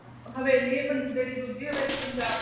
ਹਵੇਲੀ ਆ ਜਿਹੜੀ ਦੂਜੀ ਹਵੇਲੀ ਪੰਜਾਬ ਦੀ